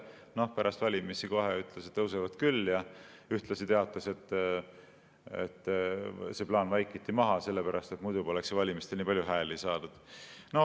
Noh, pärast valimisi ta kohe ütles, et tõusevad küll, ja ühtlasi teatas, et see plaan vaikiti maha sellepärast, et muidu poleks ju valimistel nii palju hääli saadud.